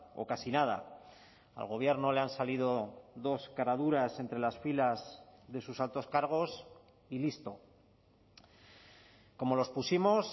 o casi nada al gobierno le han salido dos caraduras entre las filas de sus altos cargos y listo como los pusimos